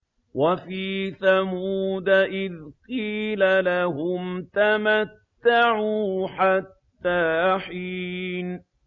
وَفِي ثَمُودَ إِذْ قِيلَ لَهُمْ تَمَتَّعُوا حَتَّىٰ حِينٍ